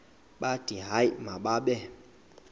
bathi hayi mababe